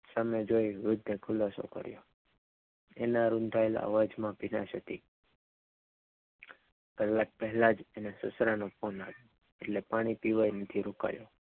સામે જોઈ વૃદ્ધને ખુલાસો કર્ય તેના નોંધાયેલા અવાજમાં ભીનાશ હત કલાક પહેલા જ એના છોકરાનો ફોન આવ્યો એટલે પાણી પીવાય નથી રોકાયો.